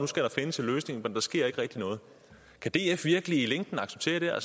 skal der findes en løsning men der sker ikke rigtig noget kan df virkelig i længden acceptere